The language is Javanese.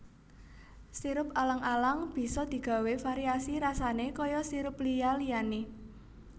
Sirup alang alang bisa digawé variasi rasané kaya sirup liya liyané